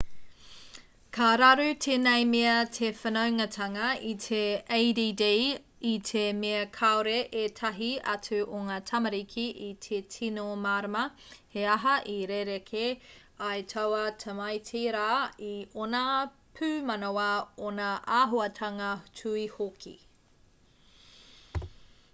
ka raru tēnei mea te whanaungatanga i te add i te mea kāore ētahi atu o ngā tamariki i te tino mārama he aha i rerekē ai taua tamaiti rā i ōna pūmanawa ōna āhuatanga tuhi hoki